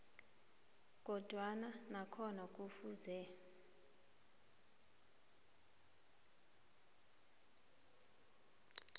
kodwana nakhona kufuze